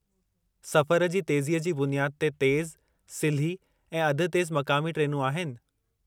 सफ़रु जी तेज़ीअ जी बुनियादु ते तेज़ु, सिल्ही ऐं अध-तेज़ु मक़ामी ट्रेनूं आहिनि।